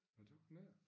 Nå det har han ik